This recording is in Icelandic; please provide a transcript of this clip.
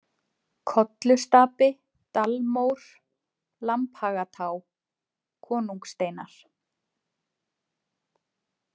Kollustapi, Dalmór, Lambhagatá, Konungssteinar